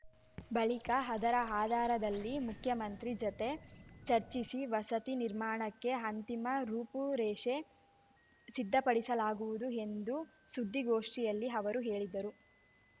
ಬಳಿಕ ಅದರ ಆಧಾರದಲ್ಲಿ ಮುಖ್ಯಮಂತ್ರಿ ಜತೆ ಚರ್ಚಿಸಿ ವಸತಿ ನಿರ್ಮಾಣಕ್ಕೆ ಅಂತಿಮ ರೂಪುರೇಷೆ ಸಿದ್ಧಪಡಿಸಲಾಗುವುದು ಎಂದು ಸುದ್ದಿಗೋಷ್ಠಿಯಲ್ಲಿ ಅವರು ಹೇಳಿದರು